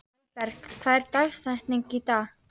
Elberg, hver er dagsetningin í dag?